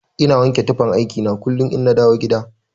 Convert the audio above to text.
Ina wanke tufan aiki na kullun inna dawo gida.